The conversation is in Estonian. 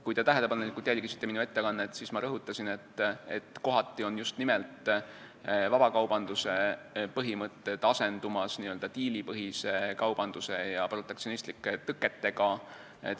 Kui te tähelepanelikult jälgisite minu ettekannet, siis te teate, et ma rõhutasin, et kohati on just nimelt vabakaubanduse põhimõtted asendumas n-ö diilipõhise kaubanduse ja protektsionistlike tõketega.